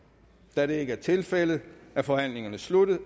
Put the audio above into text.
da det ikke er tilfældet er forhandlingen sluttet